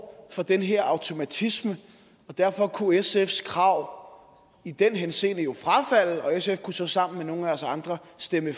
for den her automatisme og derfor kunne sfs krav i den henseende jo frafalde og sf kunne så sammen med nogle af os andre stemme